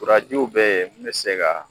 Kurajiw be yen min be se ka